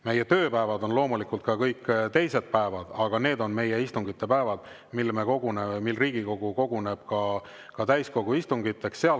Meie tööpäevad on loomulikult ka kõik teised päevad, aga need on meie istungipäevad, mil me koguneme, Riigikogu koguneb täiskogu istungiks.